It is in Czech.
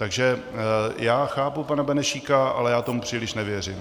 Takže já chápu pana Benešíka, ale já tomu příliš nevěřím.